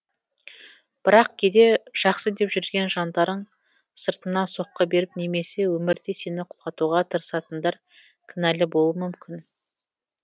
бірақ кейде жақсы деп жүрген жандарың сыртыңнан соққы беріп немесе өмірде сені құлатуға тырысатындар кінәлі болуы мүмкін